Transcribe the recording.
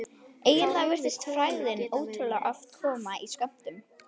Eiginlega virtist frægðin ótrúlega oft koma í skömmtum.